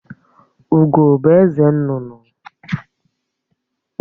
Ugó bụ eze nnụnụ